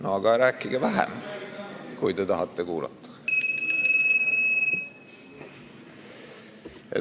Aga rääkige vähem, kui te tahate kuulata.